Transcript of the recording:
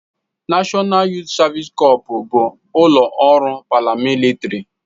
Nashọnal Yuut Savisi Cọps bụ ụlọ ọrụ paramilitịrị.